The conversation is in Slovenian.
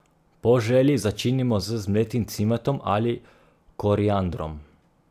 Po želji začinimo z zmletim cimetom ali koriandrom.